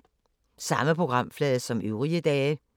Samme programflade som øvrige dage